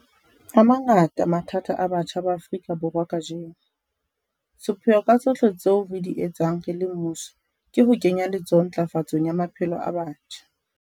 A mangata mathata a batjha ba Afrika Borwa kajeno. Sepheo ka tsohle tseo re di etsang re le mmuso ke ho kenya letsoho ntlafatsong ya maphelo a batjha.